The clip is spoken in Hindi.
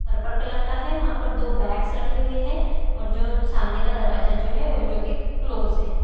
पर्पल कलर का है वहां पर दो बैग्स रखी हुई है और जो सामने का दरवाजा जो है वो जो की क्लोज है।